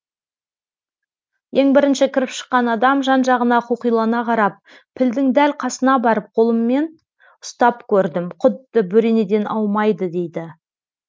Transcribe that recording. ең бірінші кіріп шыққан адам жан жағына қоқилана қарап пілдің дәл қасына барып қолыммен ұстап көрдім құдды бөренеден аумайды дейді